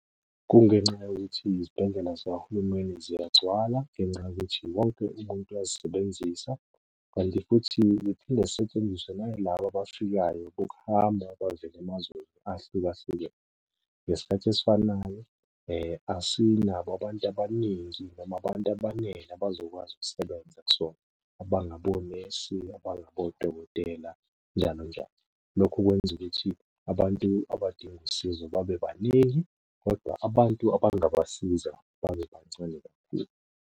Kungenxa yokuthi izibhedlela zikahulumeni ziyagcwala ngenxa yokuthi wonke umuntu uyazisebenzisa, kanti futhi ziphinde zisetshenziswe nayilaba abafikayo bokuhamba abavela emazweni ahlukahlukene. Ngesikhathi esifanayo asinabo abantu abaningi noma abantu abanele abazokwazi ukusebenza kusona abangabonesi, abangabodokotela njalo njalo. Lokho kwenza ukuthi abantu abadinga usizo babe baningi, kodwa abantu abangabasiza babe bancane kakhulu.